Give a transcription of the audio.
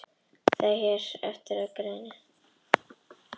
Það sem hér fer á eftir styðst við þá grein.